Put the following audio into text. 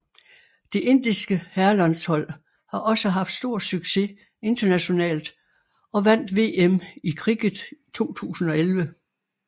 Det indiske herrelandshold har også haft stor succes internationalt og vandt VM i cricket 2011